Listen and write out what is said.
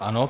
Ano.